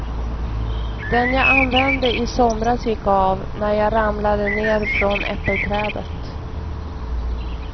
Den jag använde i somras gick av, när jag ramlade ned från äppelträdet.